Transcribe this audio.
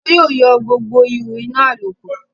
wọn yóò yọ gbogbo ihó inà àlòkù.